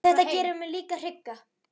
En þetta gerir mig líka hrygga.